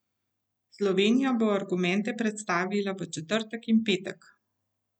Slovenija bo argumente predstavila v četrtek in petek.